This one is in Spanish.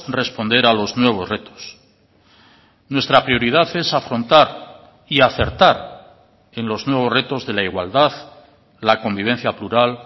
responder a los nuevos retos nuestra prioridad es afrontar y acertar en los nuevos retos de la igualdad la convivencia plural